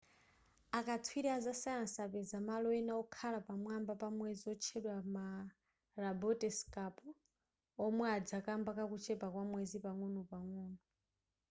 akatswiri aza sayansi apeza malo ena okhala pamwamba pa mwezi otchedwa ma labote scarp omwe adza kamba kakuchepa kwa mwezi pang'onopang'ono